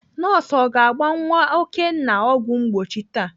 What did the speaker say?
Nọọsụ ọ ga-agba nwa Okenna ọgwụ mgbochi taa?